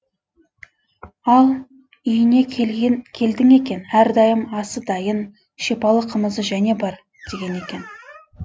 ал үйіне келдің екен әрдайым асы дайын шипалы қымызы және бар деген екен